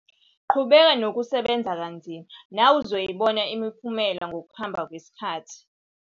Qhubeka nokusebenza kanzima nawe uzoyibona imiphumela ngokuhamba kwesikhathi!